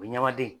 O ɲamaden